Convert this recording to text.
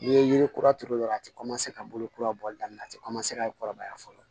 N'i ye yirikura turu yɔrɔ la a tɛ ka bolo kura bɔli daminɛ a ti ka kɔrɔbaya fɔlɔ